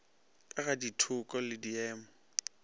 ka ga ditheko le diemo